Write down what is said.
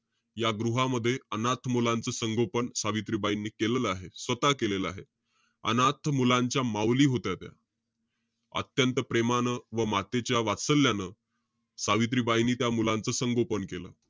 या गृहामध्ये, अनाथ मुलांचं संगोपन सावित्रीबाईंनी केलेलं आहे. स्वतः केलेलं आहे. अनाथ मुलांच्या माउली होत्या त्या. अत्यंत पप्रेमानं व मातेच्या वात्सल्यानं सावित्रीबाईंनी त्या मुलांचं संगोपन केलं.